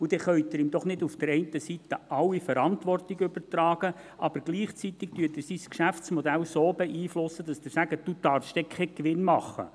Dann können Sie ihm doch nicht einerseits die gesamte Verantwortung übertragen und andererseits gleichzeitig sein Geschäftsmodell so beeinflussen, dass Sie ihm sagen, er dürfe keinen Gewinn machen.